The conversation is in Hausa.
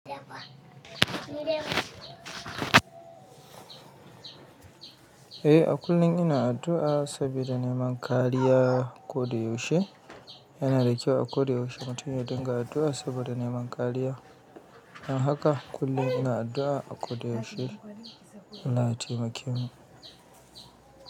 Eh a kullum ina addu'a saboda neman kariya a kudu yau she. Ina rikewa a kudu yau she matuƙi, don haka ina addu'a saboda neman kariya. Don haka kullum ina addu'a a kudu yau she na taimaki mu.